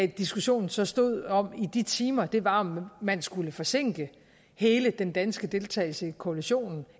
diskussionen så stod om i de timer var om man skulle forsinke hele den danske deltagelse i koalitionen